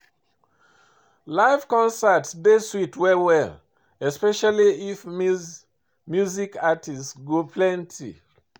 Live concert dey sweet well well, especially if music artist go plenty